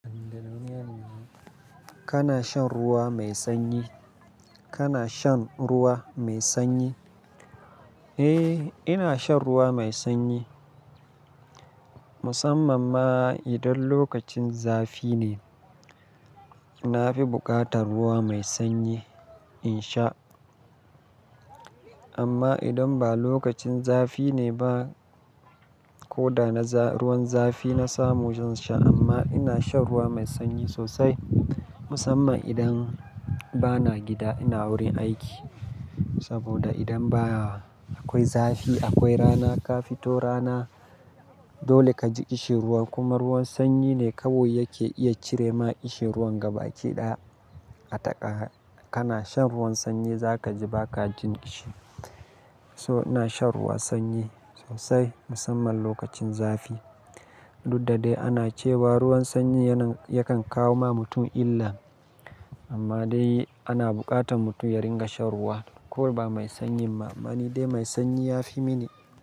Kana shan ruwa mai sanyi? Kana shan ruwa mai sanyi? Eh, ina shan ruwa mai sanyi. Musamman ma idan lokacin zafi ne, na fi buƙatar ruwa mai sanyi in sha. Amma idan ba lokacin zafi ne ba, ko da na za-- ruwan zafi na samu zan sha amma ina shan ruwa mai sanyi sosai. Musamman idan bana gida, ina wurin aiki. Saboda idan ba akwai zafi, akwai rana, ka fito rana dole ka ji ƙishirwan, kuma ruwan sanyi ne kawai yake iya cire ma ƙishirwan gaba ki ɗaya. Taƙa, kana shan ruwan sanyi za ka ji ba ka jin ƙishi. To ina shan ruwa sanyi sosai musamman lokacin zafi. Dudda dai ana cewa ruwan sanyi yana, yakan kawo ma mutum illa. Amma dai ana buƙatar mutum ya ringa shan ruwa, ko ba mai sanyin ba. Amma ni dai mai sanyi ya fi mini.